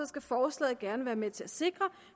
skal forslaget gerne være med til at sikre